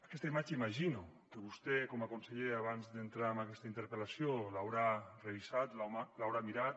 aquesta imatge imagino que vostè com a conseller abans d’entrar amb aquesta interpel·lació l’haurà revisat l’haurà mirat